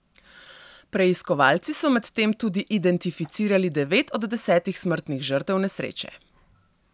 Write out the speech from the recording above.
Preiskovalci so medtem tudi identificirali devet od desetih smrtnih žrtev nesreče.